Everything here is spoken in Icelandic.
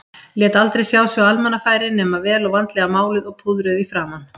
Lét aldrei sjá sig á almannafæri nema vel og vandlega máluð og púðruð í framan.